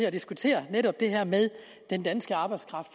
at diskutere netop det her med den danske arbejdskraft